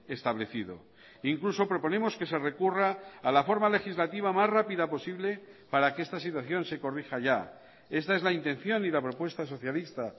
establecido incluso proponemos que se recurra a la forma legislativa más rápida posible para que esta situación se corrija ya está es la intención y la propuesta socialista